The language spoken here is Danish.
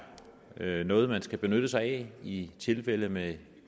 noget man skal benytte sig af i tilfælde med